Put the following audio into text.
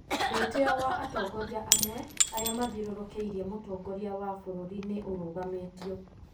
Mwĩteo wa atongoria amwe, arĩa mathiũrũrũkĩirie Mũtongoria wa bũrũri nĩ ũrũgamĩtio.